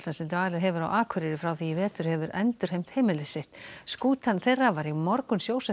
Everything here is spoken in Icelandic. sem dvalið hefur á Akureyri frá því í vetur hefur endurheimt heimili sitt skútan þeirra var í morgun sjósett á